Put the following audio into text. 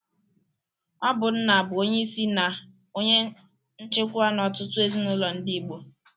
Ọ bụ nna bụ onyeisi na onye nchikwa n'ọtụtụ ezinụlọ ndị Igbo.